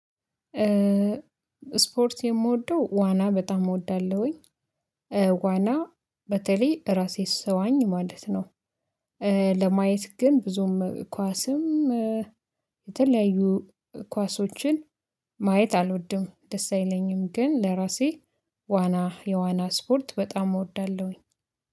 ስፖርት የምወደው ዋና በጣም እወዳለሁኝ ዋና በተለይ ራሴ ስዋኝ ማለት ነው። ለማየት ግን ብዙም ኳስም። የተለያዩ ኳሶችን ማየት አልወድም ደስ አይለኝም። ግን ለራሴ ዋና የዋና ስፖርት በጣም እወዳለሁኝ